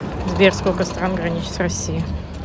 сбер сколько стран граничит с россией